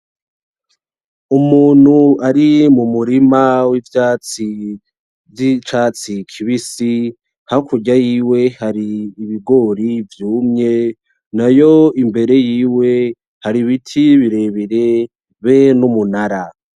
Umuntu ari mumurima w'ivyatsi vy'icatsi kibisi, hakurya yiwe hari ibigori vyumye nayo imbere yiwe hari ibiti birebire be n'umunara.